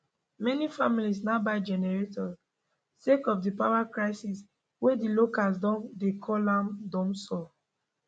many families now buy generator sake of di power crisis wey di locals don dey call am dumsor